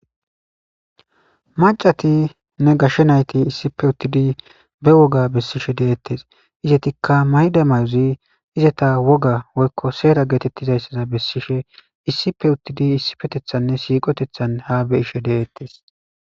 Maccatinne gashshe nayti issipe uttide be wogga besishe de'ttess izettika mayida mayozi izetta wogga woykko seera getettizaysa besesishe issippe uttide issippeteththaninne siqqoteththan ha be'ishe de'ettes.